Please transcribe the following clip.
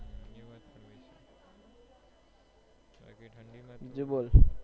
બાકી ઠંડી મા તો